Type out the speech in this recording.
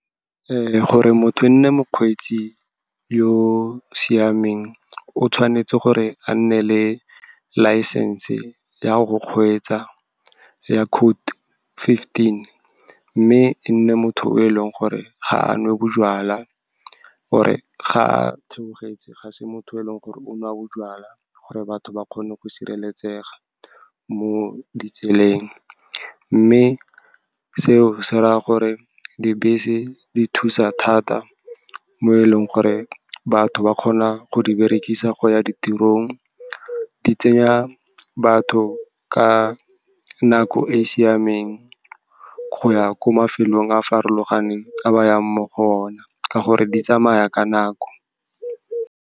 Gore motho ene mokgweetsi yo o siameng, o tshwanetse gore a nne le license-e ya go kgweetsa ya code fifteen, mme e nne motho o e leng gore ga a nwe bojalwa. Gore ga a theogetse, ga se motho o e leng gore o nwa bojalwa, gore batho ba kgone go sireletsega mo ditseleng. Mme seo se raya gore dibese di thusa thata, mo e leng gore batho ba kgona go di berekisa go ya ditirong, di tseya batho ka nako e e siameng go ya ko mafelong a farologaneng a ba yang mo go one, ka gore di tsamaya ka nako.